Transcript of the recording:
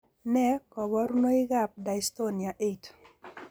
Nee kabarunoikab Dystonia 8?